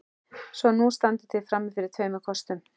Svo nú standið þið frammi fyrir tveimur kostum.